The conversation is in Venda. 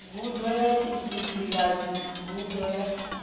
gudo ya tshidzidzivhadzi gudo ya